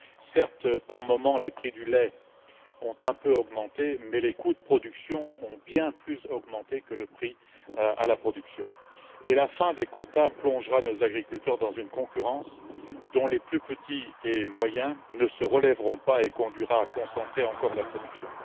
Certes, par moments, les prix du lait ont un peu augmenté mais les coûts de production ont bien plus augmenté que le prix à la production, et la fin des quotas plongera nos agriculteurs dans une concurrence dont les plus petits et moyens ne se relèveront pas et conduira à concentrer encore la production.